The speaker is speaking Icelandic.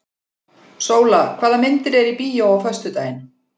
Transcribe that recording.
Sóla, hvaða myndir eru í bíó á föstudaginn?